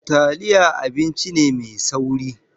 Taliya abinci ne mai sauri.